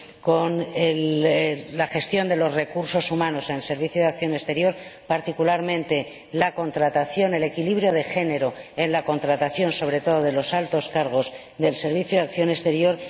con la gestión de los recursos humanos en el Servicio Europeo de Acción Exterior, particularmente con el equilibrio de género en la contratación, sobre todo de los altos cargos del Servicio Europeo de Acción Exterior.